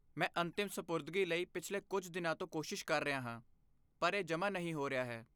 ਮੈਂ ਅੰਤਿਮ ਸਪੁਰਦਗੀ ਲਈ ਪਿਛਲੇ ਕੁਝ ਦਿਨਾਂ ਤੋਂ ਕੋਸ਼ਿਸ਼ ਕਰ ਰਿਹਾ ਹਾਂ, ਪਰ ਇਹ ਜਮ੍ਹਾਂ ਨਹੀਂ ਹੋ ਰਿਹਾ ਹੈ।